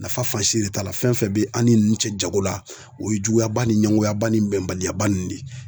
Nafa fan si de t'a la fɛn fɛn bɛ an' ni nunnu cɛ jago la o ye juguyaba ni ɲɛngoyaba ni bɛnbaliyaba nin de ye.